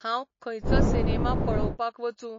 हांव खंयचो सिनेमा पळोवपाक वचूं?